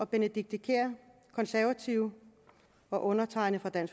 benedikte kiær og undertegnede